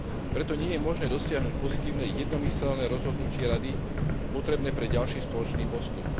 Preto nie je možné dosiahnuť pozitívne jednomyseľné rozhodnutie Rady potrebné pre ďalší spoločný postup.